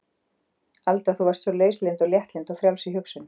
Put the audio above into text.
Alda þú varst svo lauslynd og léttlynd og frjáls í hugsun.